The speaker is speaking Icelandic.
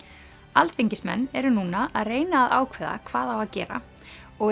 alþingismenn eru núna að reyna að ákveða hvað á að gera og